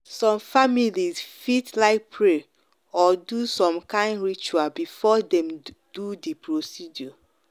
some families fit like pray or do some kind ritual before dem do the procedure.